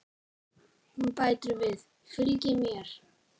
Hún bætir við: Fylgið mér